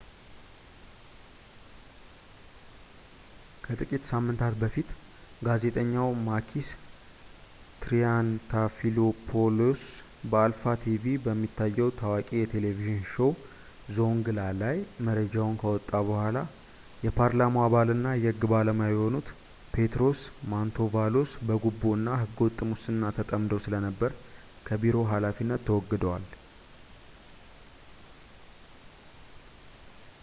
ከጥቂት ሳምንታት በፊት ጋዜጠኛው ማኪስ ትሪያንታፊሎፖውሎስ በአልፋ ቲቪ በሚታየው ታዋቂ የቴሌቪዥን ሾዉ ዞውንግላ ላይ መረጃውን ካወጣ በኋላ የፓርላማው አባልና የሕግ ባለሙያ የሆኑት ፔትሮስ ማንቶቫሎስ በጉቦ እና ሕገ-ወጥ ሙስና ተጠምደው ስለነበር ከቢሮው ሃላፊነት ተወግደዋል